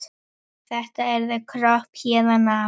Þetta yrði kropp héðan af.